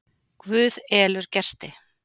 Guð elur gesti.